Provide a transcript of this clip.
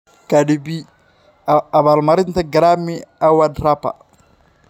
Cardi B: Abaalmarinta Grammy Award rapper